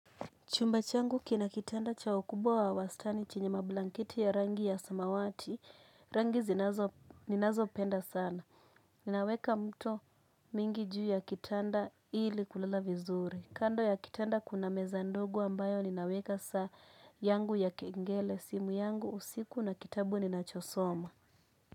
Chumba changu kina kitanda cha ukubwa wa wastani chenye mablanketi ya rangi ya samawati, rangi zinazo ninazopenda sana. Naweka mto mingi juu ya kitanda ili kulala vizuri. Kando ya kitanda kuna meza ndogo ambayo ninaweka saa yangu ya kengele, simu yangu, usiku na kitabu ni nachosoma.